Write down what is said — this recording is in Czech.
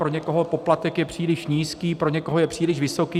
Pro někoho poplatek je příliš nízký, pro někoho je příliš vysoký.